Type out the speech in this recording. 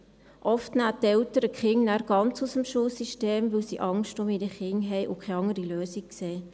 Oft nehmen die Eltern die Kinder dann ganz aus dem Schulsystem, weil sie Angst um ihre Kinder haben und keine andere Lösung sehen.